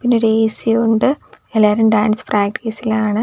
പിന്നൊരു എ_സി ഉണ്ട് എല്ലാവരും ഡാൻസ് പ്രാക്ടീസിലാണ് .